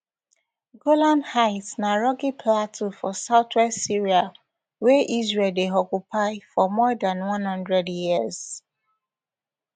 golan heights na rocky plateau for southwest syria wey israel dey occupy for more dan one hundred years